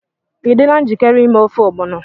Ị dịla njikere ime ofe ogbono?